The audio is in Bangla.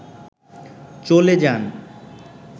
চলে যান